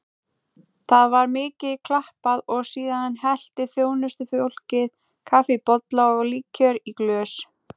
Það var mikið klappað og síðan hellti þjónustufólkið kaffi í bolla og líkjör í glös.